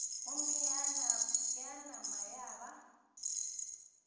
gomme ya nama ya ba